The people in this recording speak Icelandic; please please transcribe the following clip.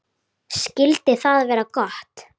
Skyldi það vera gott?